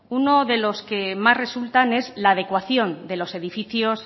uno de las que más resultan es la adecuación de los edificios